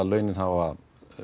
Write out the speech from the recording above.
launin hafa